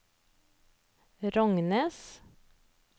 Rognes